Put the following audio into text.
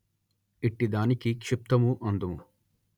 ఇట్టిదానికి క్షిప్తము అందుము